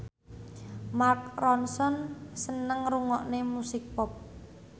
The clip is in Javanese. Mark Ronson seneng ngrungokne musik pop